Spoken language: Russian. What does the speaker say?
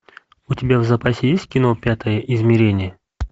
у тебя в запасе есть кино пятое измерение